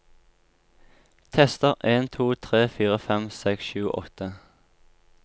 Tester en to tre fire fem seks sju åtte